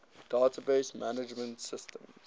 database management systems